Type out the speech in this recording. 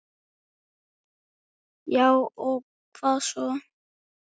Já og hvað svo!